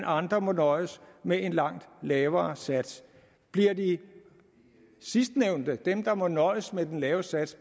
andre må nøjes med en langt lavere sats bliver de sidstnævnte dem der må nøjes med den lave sats